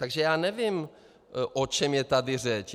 Takže já nevím, o čem je tady řeč.